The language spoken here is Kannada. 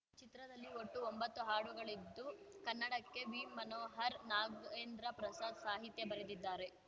ಚಿತ್ರದಲ್ಲಿ ಒಟ್ಟು ಒಂಭತ್ತು ಹಾಡುಗಳಿದ್ದು ಕನ್ನಡಕ್ಕೆ ವಿಮನೋಹರ್‌ ನಾಗೇಂದ್ರ ಪ್ರಸಾದ್‌ ಸಾಹಿತ್ಯ ಬರೆದಿದ್ದಾರೆ